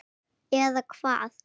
Eða hvað.?